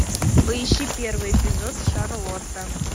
поищи первый эпизод шарлотта